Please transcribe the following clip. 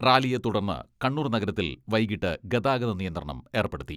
റാലിയെ തുടർന്ന് കണ്ണൂർ നഗരത്തിൽ വൈകിട്ട് ഗതാഗത നിയന്ത്രണം ഏർപ്പെടുത്തി.